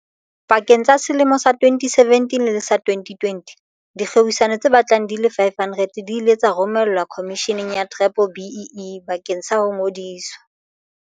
Pakeng tsa selemo sa 2017 le sa 2020, dikgwebisano tse batlang di le 500 di ile tsa romelwa Khomisheneng ya B-BBEE bakeng sa ho ngodiswa.